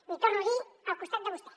l’hi torno a dir al costat de vostè